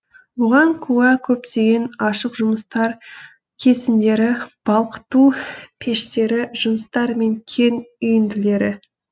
бұған куә көптеген ашық жұмыстар кесіндері балқыту пештері жыныстар мен кен үйінділері